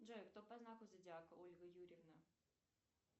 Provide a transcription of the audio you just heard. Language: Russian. джой кто по знаку зодиака ольга юрьевна